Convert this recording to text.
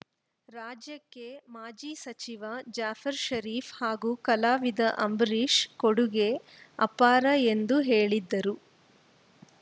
ರಾಜ್ಯಕ್ಕೆ ಮಾಜಿ ಸಚಿವ ಜಾಫರ್‌ ಷರೀಫ್‌ ಹಾಗೂ ಕಲಾವಿದ ಅಂಬರೀಷ್‌ ಕೊಡುಗೆ ಅಪಾರ ಎಂದು ಹೇಳಿದರು